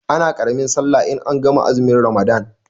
Ana ƙaramin sallah in an gama azumin ramadan